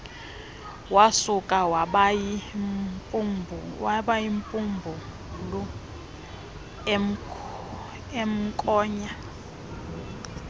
wasuka wabayimbumbulu emnkonya